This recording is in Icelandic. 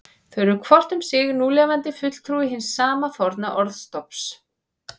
Þau eru hvort um sig núlifandi fulltrúi hins sama forna orðstofns.